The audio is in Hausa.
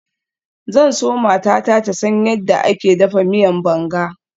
Zan so matata ta san yadda ake dafa miyan banga.